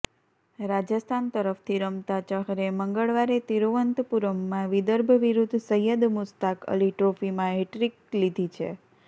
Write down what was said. રાજસ્થાન તરફથી રમતા ચહરે મંગળવારે તિરુવનંતપુરમમાં વિદર્ભ વિરુદ્ધ સૈયદ મુશ્તાક અલી ટ્રોફીમાં હેટ્રિક લીધી છે